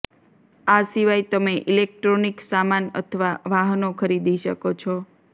આ સિવાય તમે ઇલેક્ટ્રોનિક સામાન અથવા વાહનો ખરીદી શકો છો